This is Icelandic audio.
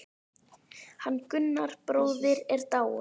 Hann Gunnar bróðir er dáinn.